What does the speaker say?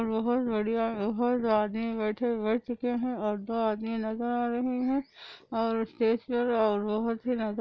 बहुत बढ़िया बहुत आदमी बैठे हुए है ओवर धो आदमी नज़र आ रहे हे ओवर स्टेज पर बहुतही नजर --